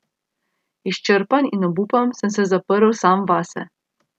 Izčrpan in obupan sem se zaprl sam vase.